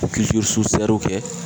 kɛ